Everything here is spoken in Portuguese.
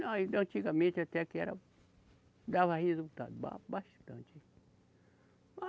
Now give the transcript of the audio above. Não, antigamente até que era. Dava resultado, ba, bastante.